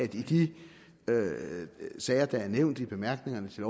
de sager der er nævnt i bemærkningerne til